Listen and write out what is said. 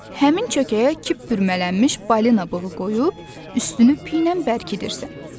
Həmin çökəyə kip bürümələnmiş balina bığı qoyub üstünü piylə bərkidirsən.